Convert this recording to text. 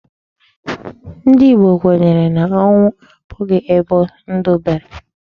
Ndị Igbo kwenyere na onwu abụghị ebe ndụ bere.